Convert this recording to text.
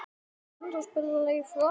Hverju átti hann að svara?